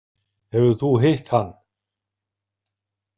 Hefur þú hitt hann?